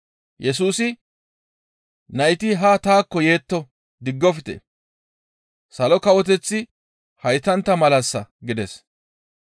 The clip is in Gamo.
Yesusi, «Nayti haa taakko yetto; diggofte; Salo Kawoteththi haytantta malassa!» gides.